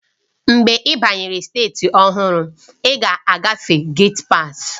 Mgbe ị banyere steeti ọhụrụ, ị ga-agafe getpas